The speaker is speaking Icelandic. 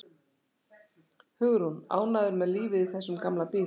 Hugrún: Ánægður með lífið í þessum gamla bíl?